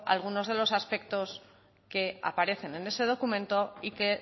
alguno de los aspectos que aparecen en ese documento y que